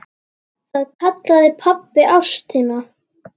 Það kallaði pabbi ástina.